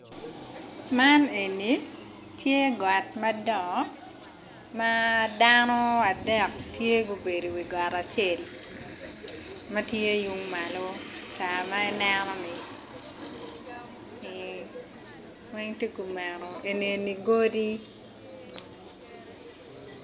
Man eni tye got madongo ma dano adek tye gubedo i wi got acel ma tye yung malo ca ma ineno-ni weng tye kumeno eni godi.